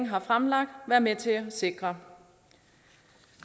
har fremlagt være med til at sikre